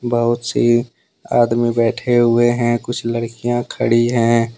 बहुत सी आदमी बैठे हुए हैं। कुछ लरकिया खड़ी हैं।